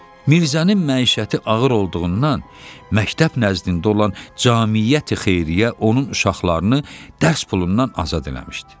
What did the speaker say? Mirzənin məişəti ağır olduğundan məktəb nəzdində olan Cəmiyyəti-xeyriyyə onun uşaqlarını dərs pulundan azad eləmişdi.